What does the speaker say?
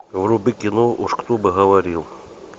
вруби кино уж кто бы говорил